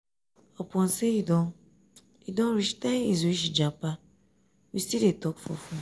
upon sey e don e don reach ten years wey she japa we still dey talk for fone.